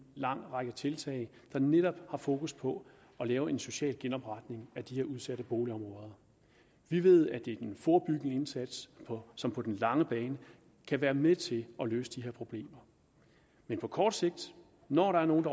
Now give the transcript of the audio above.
lang række tiltag der netop har fokus på at lave en social genopretning af de her udsatte boligområder vi ved at det er den forebyggende indsats som på den lange bane kan være med til at løse de her problemer men på kort sigt når der er nogle